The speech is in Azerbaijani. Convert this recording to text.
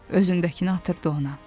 Özündəkinə atırdı ona.